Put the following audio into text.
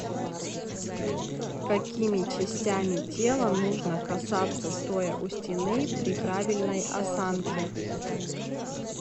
какими частями тела нужно касаться стоя у стены при правильной осанке